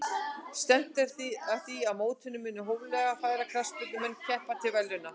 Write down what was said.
Stefnt er að því að í mótinu muni hóflega færir knattspyrnumenn keppa til verðlauna.